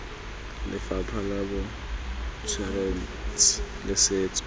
lefapha la botsweretshi le setso